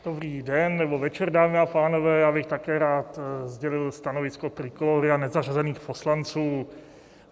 Dobrý den nebo večer, dámy a pánové, já bych také rád sdělil stanovisko Trikolóry a nezařazených poslanců.